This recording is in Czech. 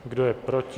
Kdo je proti?